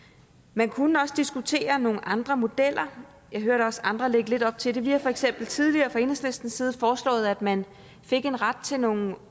man kunne også diskutere nogle andre modeller jeg hørte også andre lægge lidt op til det vi har for eksempel tidligere fra enhedslistens side foreslået at man fik en ret til nogle